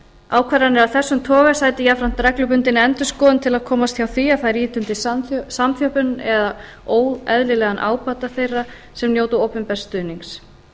ákvarðanir af þessum toga sæti jafnframt reglubundinni endurskoðun til að komast hjá því að þær ýti undir samþjöppun eða óeðlilegan ábata þeirra sem njóta opinbers stuðnings